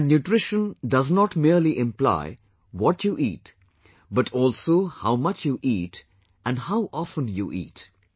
And nutrition merely does not only imply what you eat but also how much you eat and how often you eat